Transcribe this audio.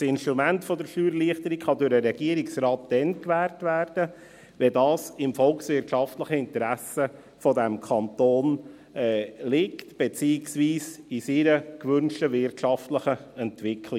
Das Instrument der Steuererleichterung kann durch den Regierungsrat dann gewährt werden, wenn dies im volkswirtschaftlichen Interesse dieses Kantons liegt, beziehungsweise im Interesse seiner gewünschten wirtschaftlichen Entwicklung.